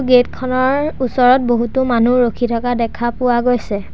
Gate খনৰ ওচৰত বহুতো মানুহ ৰখি থাকা দেখা পোৱা গৈছে।